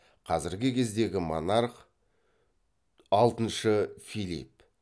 қазіргі кездегі монарх алтыншы филипп